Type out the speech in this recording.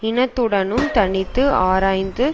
இனத்துடனும் தனித்தும் ஆராய்ந்து